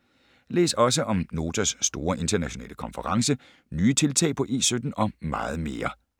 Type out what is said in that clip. Læs også om Notas store internationale konference, nye tiltag på E17 og meget mere.